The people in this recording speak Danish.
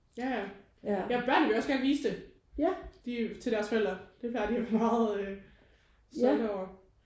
Ja ja. Ja børn vil jo også gerne vise det de til deres forældre. Det plejer de at være meget øh stolte over